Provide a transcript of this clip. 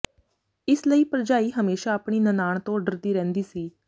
ਇਸ ਲਈ ਭਰਜਾਈ ਹਮੇਸ਼ਾਂ ਆਪਣੀ ਨਨਾਣ ਤੋਂ ਡਰਦੀ ਰਹਿੰਦੀ ਸੀ